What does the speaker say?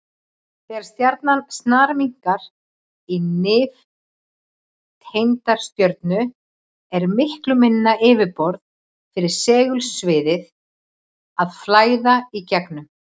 Þegar stjarnan snarminnkar í nifteindastjörnu er miklu minna yfirborð fyrir segulsviðið að flæða í gegnum.